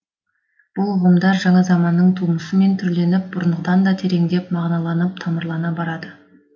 бұл ұғымдар жаңа заманның тумысымен түрленіп бұрынғыдан да тереңдеп мағыналанып тамырлана барады